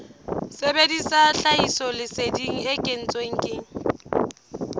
sebedisa tlhahisoleseding e kentsweng ke